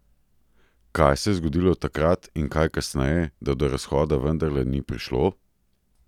Kaj se je zgodilo takrat in kaj kasneje, da do razhoda vendarle ni prišlo?